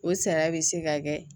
O sara bɛ se ka kɛ